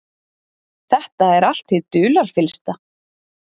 Þetta er allt hið dularfyllsta.